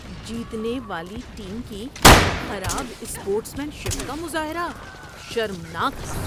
جیتنے والی ٹیم کی خراب اسپورٹس مین شپ کا مظاہرہ شرمناک تھا۔